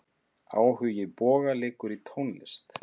Áhugi Boga liggur í tónlist.